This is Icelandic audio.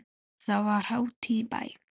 Þá var hátíð í bæ.